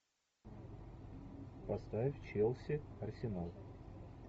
поставь челси арсенал